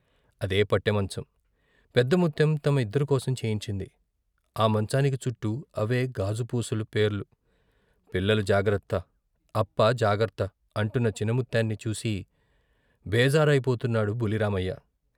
అదే వట్టెమంచం, పెదముత్తెం తమ ఇద్దరికోసం చేయించింది. ఆ మంచానికి చుట్టూ అవే గాజుపూసల పేర్లు. పిల్లలు జాగ్రత్త, అప్ప జాగ్రత్త, అంటున్న చిన్నమత్తేన్ని చూసి బేజారయిపోతున్నాడు బుల్లి రామయ్య.